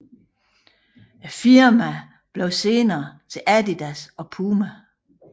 Firmaerne blev senere til Adidas og PUMA